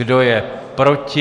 Kdo je proti?